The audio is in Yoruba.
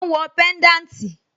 Ó ń wọ pẹ́ńdáǹtì?